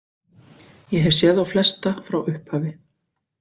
Ég hef séð þá flesta frá upphafi.